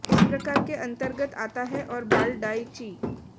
इस प्रकार के अंतर्गत आता है और बाल डाई ची